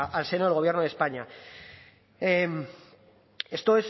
al seno del gobierno de españa esto